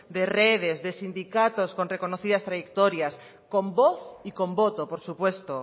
de redes de sindicatos con reconocidas trayectorias con voz y con voto por supuesto